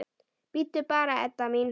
Bíddu bara, Edda mín.